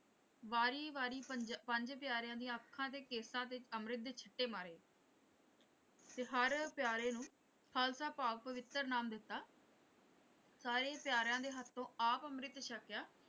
ਵਾਰੀ ਵਾਰੀ ਪੰਜਾਂ ਪੰਜ ਪਿਆਰਿਆਂ ਦੀਆਂ ਅੱਖਾਂ ਤੇ ਕੇਸਾਂ ਤੇ ਅੰਮ੍ਰਿਤ ਦੇ ਛਿੱਟੇ ਮਾਰੇ ਤੇ ਹਰ ਪਿਆਰੇ ਨੂੰ ਖ਼ਾਲਸਾ ਭਾਵ ਪਵਿੱਤਰ ਨਾਮ ਦਿੱਤਾ ਸਾਰੇ ਪਿਆਰਿਆਂ ਦੇ ਹੱਥੋਂ ਆਪ ਅੰਮ੍ਰਿਤ ਛਕਿਆ।